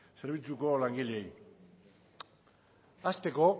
zerbitzuko langileei hasteko